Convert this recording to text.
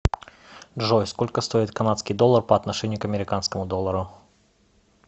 джой сколько стоит канадский доллар по отношению к американскому доллару